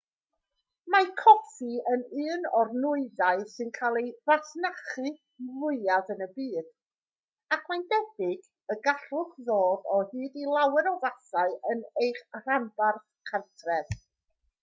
mae coffi yn un o'r nwyddau sy'n cael ei fasnachu fwyaf yn y byd ac mae'n debyg y gallwch ddod o hyd i lawer o fathau yn eich rhanbarth cartref